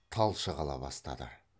талшық ала бастады